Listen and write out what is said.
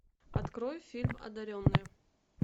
открой фильм одаренные